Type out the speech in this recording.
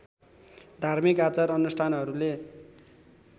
धार्मिक आचार अनुष्ठानहरूले